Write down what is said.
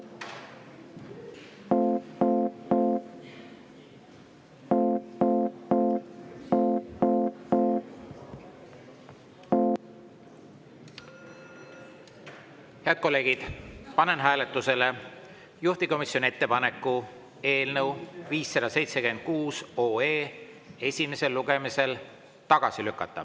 Head kolleegid, panen hääletusele juhtivkomisjoni ettepaneku eelnõu 576 esimesel lugemisel tagasi lükata.